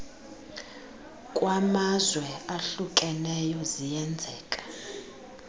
kwamazwe ahlukeneyo ziyenzeka